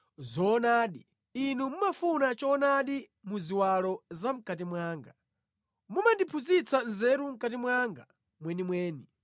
Zoonadi inu mumafuna choonadi mu ziwalo zamʼkati mwanga; mumandiphunzitsa nzeru mʼkati mwanga mwenimweni.